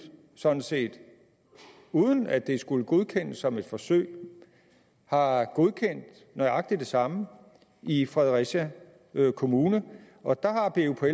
sådan set uden at det skulle godkendes som et forsøg har godkendt nøjagtig det samme i fredericia kommune og der